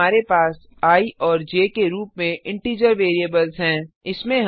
यहाँ हमारे पास आई और ज के रूप में इंटिजर वेरिएबल्स हैं